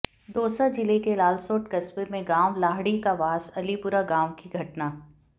दौसा जिले के लालसोट कस्बे में गांव लाहड़ी का वास अलीपुरा गांव की घटना